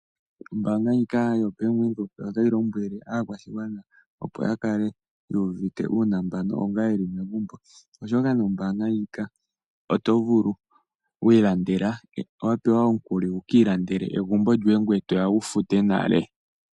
Ombaanga ndjika yaBank Windhoek otayi lombwele aakwashigwana opo ya kale yuuvite uunambano onga yeli megumbo oshoka nombaanga ndjika oto vulu okupewa omukuli wu kiilandele egumbo lyoye ngoye toya wu fute nale.